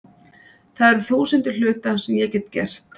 Það eru þúsundir hluta sem ég get gert.